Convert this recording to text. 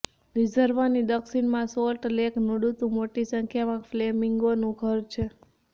રિઝર્વની દક્ષિણમાં salt lake નડુતુ મોટી સંખ્યામાં ફ્લેમિંગોનું ઘર છે